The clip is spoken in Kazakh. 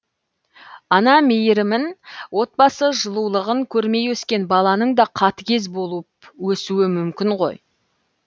ана мейірімін отбасы жылулығын көрмей өскен баланың да қатыгез болып өсуі мүмкін ғой